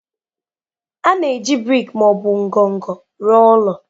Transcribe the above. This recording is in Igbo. A na-eji brik ma ọ bụ ngọngọ rụọ ụlọ.